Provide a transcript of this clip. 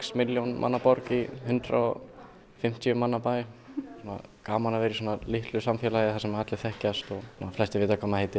milljón manna borg í hundrað og fimmtíu manna borg gaman að vera í svona litlu samfélagi þar sem allir vita hvað maður heitir